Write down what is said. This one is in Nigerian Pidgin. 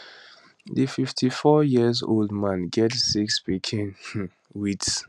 di 54yearold man get six pikin um wit